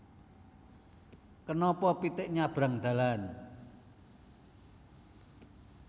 Kenapa pitik nyabrang dalan